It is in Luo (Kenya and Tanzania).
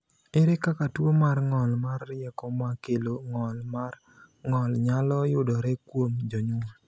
Ere kaka tuwo mar ng’ol mar rieko ma kelo ng’ol mar ng’ol nyalo yudore kuom jonyuol?